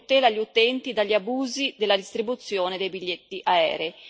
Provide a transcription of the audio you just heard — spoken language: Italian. che tutela gli utenti dagli abusi nella distribuzione dei biglietti aerei.